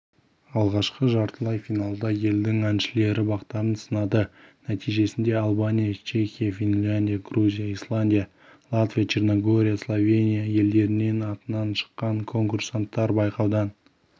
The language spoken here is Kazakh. алғашқы жартылай финалда елдің әншілері бақтарын сынады нәтижесінде албания чехия финляндия грузия исландия латвия черногория словения елдерінің атынан шыққан конкурсанттар байқаудан